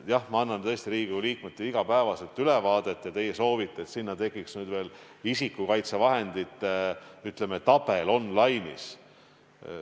Jah, ma annan tõesti Riigikogu liikmetele iga päev ülevaadet, aga teie soovite, et sinna tekiks veel isikukaitsevahendite tabel on-line'is.